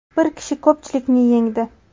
Bir kishi ko‘pchilikni yengdi.